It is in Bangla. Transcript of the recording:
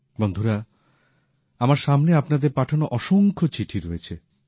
বন্ধুরা আমার সামনে আপনাদের পাঠানো অসংখ্য চিঠি রয়েছে